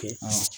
Kɛ a